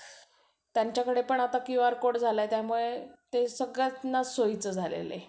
त्यांच्याकडे पण आता QR cod झालाय त्यामुळे ते सगळ्यांनाच सोयीचं झालेलं आहे.